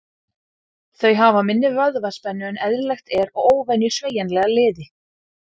Þau hafa minni vöðvaspennu en eðlilegt er og óvenju sveigjanlega liði.